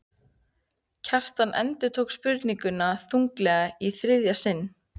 Kjartan endurtók spurninguna þunglega í þriðja sinn.